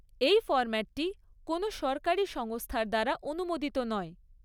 এই ফর্ম্যাটটি কোনও সরকারি সংস্থার দ্বারা অনুমোদিত নয়।